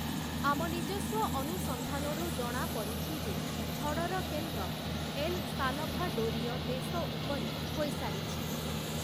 ଆମ ନିଜସ୍ୱ ଅନୁସନ୍ଧାନରୁ ଜଣାପଡ଼ିଛି ଯେ ଝଡ଼ର କେନ୍ଦ୍ର ଏଲ ସାଲଭାଡୋରୀୟ ଦେଶ ଉପରେ ହୋଇସାରିଛି ।